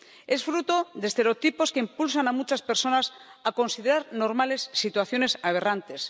Es fruto de estereotipos que impulsan a muchas personas a considerar normales situaciones aberrantes.